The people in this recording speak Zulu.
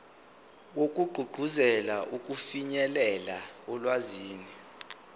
wokugqugquzela ukufinyelela olwazini